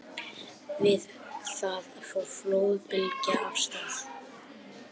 Við það fór flóðbylgja af stað.